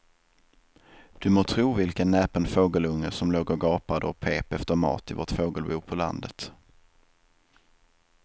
Du må tro vilken näpen fågelunge som låg och gapade och pep efter mat i vårt fågelbo på landet.